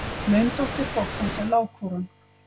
Laundóttir hrokans er lágkúran.